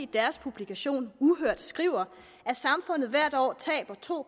deres publikation uhørt skriver at samfundet hvert år taber to